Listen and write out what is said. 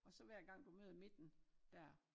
Og så hver gang du møder midten dér